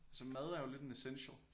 Altså mad er jo lidt en essential